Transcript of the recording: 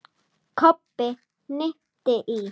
Kobbi hnippti í